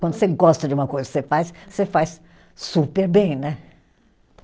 Quando você gosta de uma coisa que você faz, você faz super bem, né?